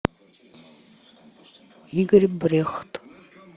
игорь брехт